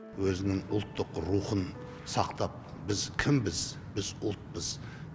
өзінің ұлттық рухын сақтап біз кімбіз біз ұлтпыз